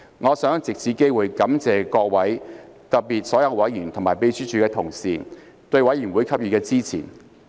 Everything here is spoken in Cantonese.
我想藉此機會感謝各位，特別是所有委員和秘書處的同事對委員會給予的支持。